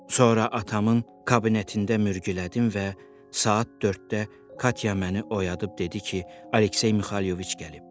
Sonra atamın kabinetində mürgülədim və saat dörddə Katya məni oyadıb dedi ki, Aleksey Mixayloviç gəlib.